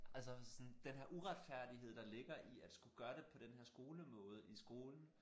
Altså sådan den her uretfærdighed der ligger i at skulle gøre det på den her skolemåde i skolen